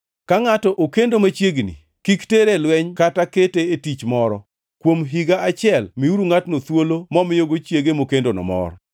Ka ngʼato okendo machiegni, kik tere e lweny kata kete e tich moro. Kuom higa achiel miuru ngʼatno thuolo momiyogi chiege mokendono mor.